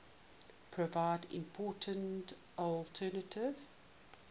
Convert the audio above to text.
provide important alternative